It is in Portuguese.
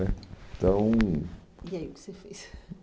né Então... E aí o que você fez?